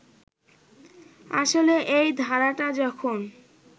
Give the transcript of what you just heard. আসলে এই ধারাটা যখন